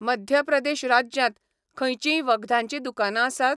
मध्य प्रदेश राज्यांत खंयचींय वखदाचीं दुकानांआसात?